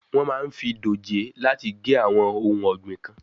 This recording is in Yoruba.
Wọ́n máa ń fi dòjé láti gé àwọn ohun ọ̀gbìn kan.